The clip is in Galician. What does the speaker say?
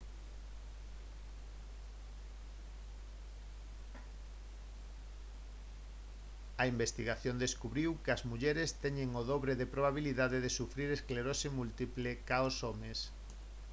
a investigación descubriu que as mulleres teñen o dobre de probabilidade de sufrir esclerose múltiple ca os homes